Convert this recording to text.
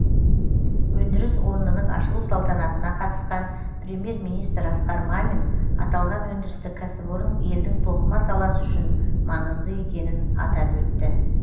өндіріс орнының ашылу салтанатына қатысқан премьер министр асқар мамин аталған өндірістік кәсіпорын елдің тоқыма саласы үшін маңызды екенін атап өтті